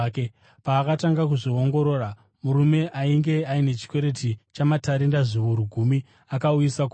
Paakatanga kuzviongorora, murume ainge aine chikwereti chamatarenda zviuru gumi akauyiswa kwaari.